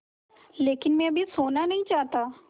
लेकिन मैं अभी सोना नहीं चाहता